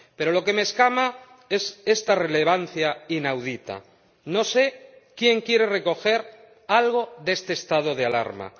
Pero lo que me escama es esta relevancia inaudita no sé quién quiere recoger algo de este estado de alarma.